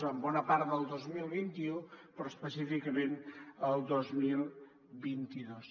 en bona part del dos mil vint u però específicament el dos mil vint dos